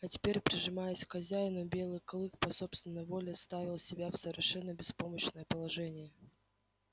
а теперь прижимаясь к хозяину белый клык по собственной воле ставил себя в совершенно беспомощное положение